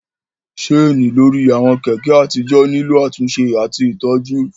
Ṣéènì lórí àwọn Kẹ̀kẹ́ àtijọ́ nílò àtúnṣe àti ìtọ́jú